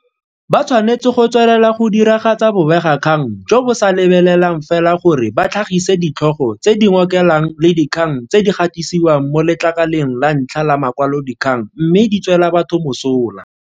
Ba tshwanetse go tswelela go diragatsa bobegakgang jo bo sa lebelelang fela gore ba tlhagise ditlhogo tse di ngokelang le dikgang tse di gatisiwang mo letlakaleng la ntlha la makwalodikgang mme di tswela batho mosola.